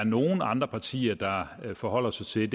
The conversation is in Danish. nogle andre partier forholder sig til